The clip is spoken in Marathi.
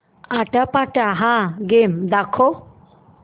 आट्यापाट्या हा गेम दाखव